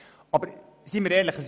Seien wir aber ehrlich: